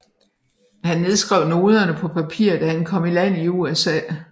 Han nedskrev noderne på papir da han kom i land i USA